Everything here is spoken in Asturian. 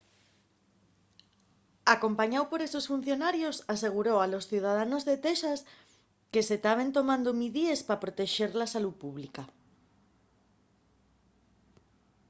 acompañáu por esos funcionarios aseguró a los ciudadanos de texas que se taben tomando midíes pa protexer la salú pública